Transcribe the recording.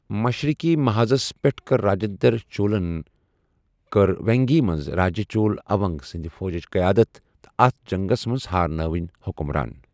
مشرقی محاذس پیٹھ کر راجندر چولن کٔر وینگی منٛز راجہ چول اوَل سٕندِ فوجچ قیادت تہٕ اتھ جنگس منٛز ہارنٲوِن حکمران۔